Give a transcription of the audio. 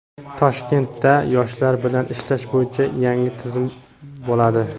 Toshkentda yoshlar bilan ishlash bo‘yicha yangi tizim bo‘ladi.